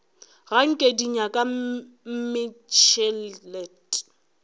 ga nke di nyaka mmešelet